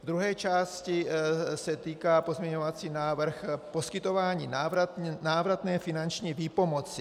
V druhé části se týká pozměňovací návrh poskytování návratné finanční výpomoci.